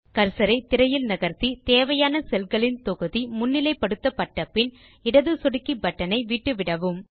cursor ஐ திரையில் நகர்த்தி தேவையான செல் களின் தொகுதி முன்னிலை படுத்தப்பட்ட பின் இடது சொடுக்கி பட்டன் ஐ விட்டுவிடவும்